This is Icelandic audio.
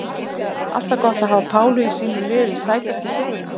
Alltaf gott að hafa Pálu í sínu liði Sætasti sigurinn?